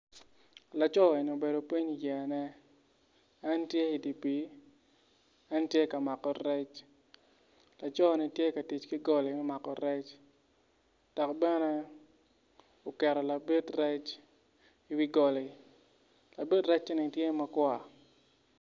Laco eni obedo piny i yeyane en tye i dye pii en tye ka mako rec laco-ni tye ka tic ki goli me mako rec dok bene oketo labit rec i wi goli labit recce-ni tye ma kwar.